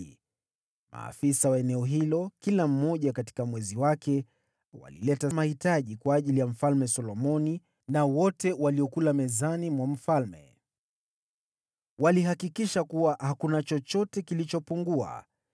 Maafisa wa eneo hilo, kila mmoja katika mwezi wake, walileta mahitaji kwa ajili ya Mfalme Solomoni na wote waliokula mezani mwa mfalme. Walihakikisha kuwa hakuna chochote kilichopungua.